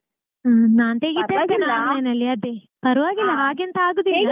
ಹಾ ಪರ್ವಾಗಿಲ್ಲ ಹಾಗೆಂತ ಆಗುದಿಲ್ಲ.